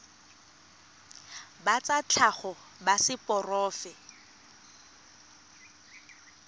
ba tsa tlhago ba seporofe